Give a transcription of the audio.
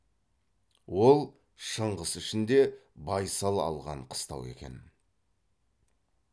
ол шыңғыс ішінде байсал алған қыстау екен